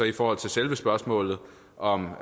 i forhold til selve spørgsmålet om